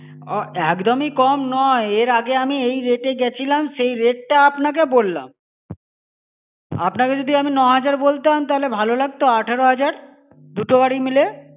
আহ একদম-ই কম নয়, এর আগে আমি এই rate এ গেছিলাম, সেই rate টা আপনাকে বললাম. আপনাকে যদি আমি ন-হাজার বলতাম তাহলে ভালো লাগতো আঠারো হাজার? দুটো গাড়ি মিলিয়ে?